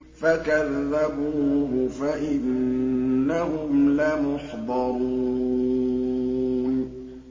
فَكَذَّبُوهُ فَإِنَّهُمْ لَمُحْضَرُونَ